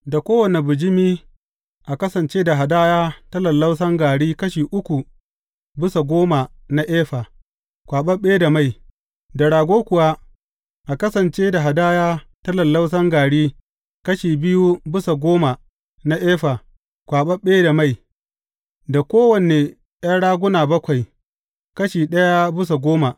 Da kowane bijimi a kasance da hadaya ta lallausan gari kashi uku bisa goma na efa, kwaɓaɓɓe da mai; da rago kuwa, a kasance da hadaya ta lallausan gari kashi biyu bisa goma na efa, kwaɓaɓɓe da mai; da kowane ’yan raguna bakwai, kashi ɗaya bisa goma.